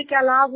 "